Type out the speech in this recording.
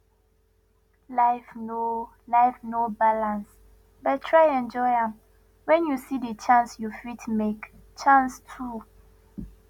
life no life no balance but try enjoy am when you see di chance you fit make chance too